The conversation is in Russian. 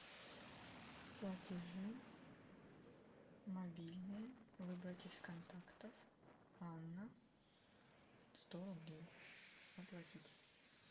платежи мобильные выбрать из контактов анна сто рублей оплатить